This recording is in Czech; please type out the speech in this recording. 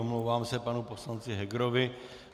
Omlouvám se panu poslance Hegerovi.